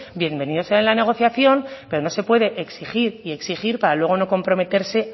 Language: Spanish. bienvenido sea en la negociación pero no se puede exigir y exigir para luego no comprometerse